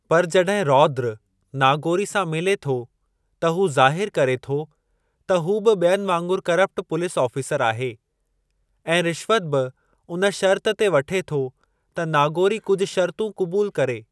पर जॾहिं रौद्र नागोरी सां मिली थो त हू ज़ाहिरु करे थो त हू बि ॿियनि वांगुरु करप्ट पुलीस ऑफ़ीसरु आहे ऐं रिश्वत बि उन शर्त ते वठे थो त नागोरी कुझु शर्तूं क़बूल करे।